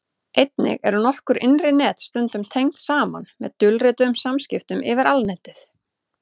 einnig eru nokkur innri net stundum tengd saman með dulrituðum samskiptum yfir alnetið